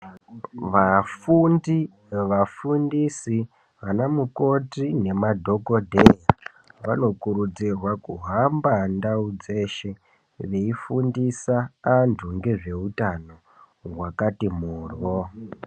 Vafundi, vafundisi ana mukoti nemadhokodheya vanokurudzirwa kuhamba ndau dzese veifundisa vanthu ngezveutano hwakati mhoryo.